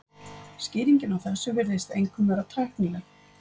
Skýringin á þessu virðist einkum vera tæknileg.